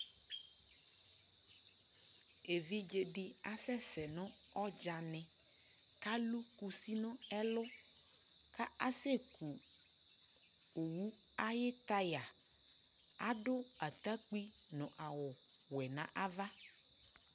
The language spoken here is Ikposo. ɛvidzɛ di asɛsɛ nʋ ʋdza nɛ kʋ alʋ kʋsi nʋ ɛlʋ ka asɛ kʋ ɔwʋ tyre adʋ atakpi nʋ awʋ wɛ nʋ aɣa